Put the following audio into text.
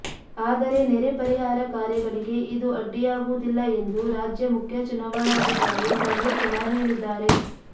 ಆದರೆ ನೆರೆ ಪರಿಹಾರ ಕಾರ್ಯಗಳಿಗೆ ಇದು ಅಡ್ಡಿಯಾಗುವುದಿಲ್ಲ ಎಂದು ರಾಜ್ಯ ಮುಖ್ಯ ಚುನಾವಣಾಧಿಕಾರಿ ಸಂಜೀವ್ ಕುಮಾರ್ ಹೇಳಿದ್ದಾರೆ